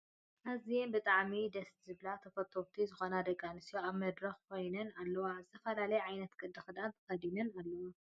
ኣዝየን ብጣዕሚ ደስ ዝብላካን ተፈተውቲ ዝኮና ደቂ ኣንስትዮ ኣብ መድረክ ኮይናን ኣለዋ ። ዝተፈላላየ ዓይነት ቅዲ ክዳን ተከዲናን ኣለዋ ።